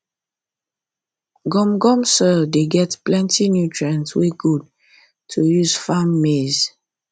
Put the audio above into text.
gum gum soil dey get plenty nutrient wey good to use farm maize